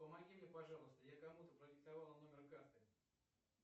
помоги мне пожалуйста я кому то продиктовал номер карты